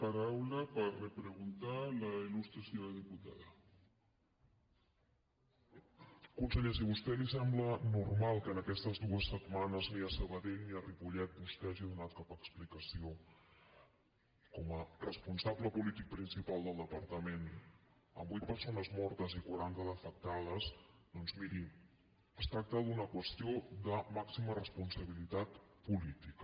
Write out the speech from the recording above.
conseller si a vostè li sembla normal que aquestes dues setmanes ni a sabadell ni a ripollet vostè hagi donat cap explicació com a responsable polític principal del departament amb vuit persones mortes i quaranta d’afectades doncs miri es tracta d’una qüestió de màxima responsabilitat política